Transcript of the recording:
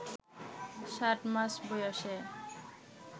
সাত মাস বয়সে